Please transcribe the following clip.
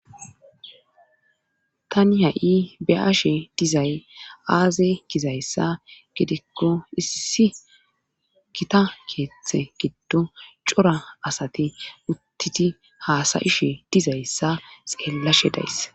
tani ha7i be7ashe dizay aaze gizayssa gidikko issi gita keeththe giddo cora asati uttiti haasayishe dizayssa xeellashe dayss